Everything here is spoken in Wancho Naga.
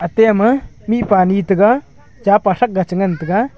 ate ama mihpa ni tega chapa thak ga che ngan tega.